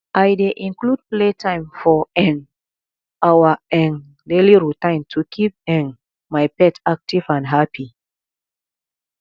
i dey include playtime for um our um daily routine to keep um my pet active and happy